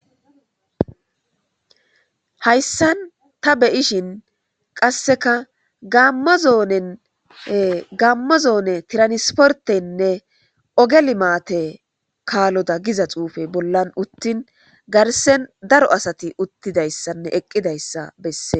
Hayssan tabeyishin qasseka gamma zoone tiranisportenne ogelimaate kaaloda giza xuufe bollan uttin garsen daro asati uttidayssanne eqqidayssa besse.